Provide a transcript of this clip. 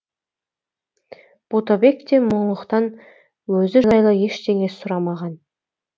ботабек те мұңлықтан өзі жайлы ештеңе сұрамаған